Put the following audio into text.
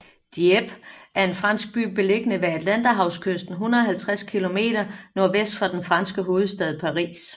Dieppe er en fransk by beliggende ved Atlanterhavskysten 150 km nordvest for den franske hovedstad Paris